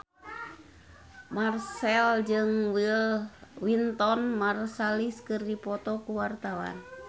Marchell jeung Wynton Marsalis keur dipoto ku wartawan